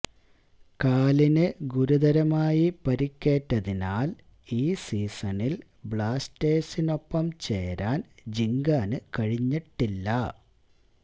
കാലിന് ഗുരുതരമായി പരിക്കേറ്റതിനാല് ഈ സീസണില് ബ്ലാസ്റ്റേഴ്സിനൊപ്പം ചേരാന് ജിങ്കാന് കഴിഞ്ഞിട്ടില്ല